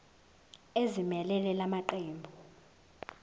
ezimelele la maqembu